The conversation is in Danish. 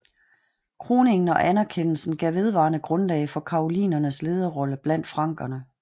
Kroningen og anerkendelsen gav vedvarende grundlag for karolingernes lederrolle blandt frankerne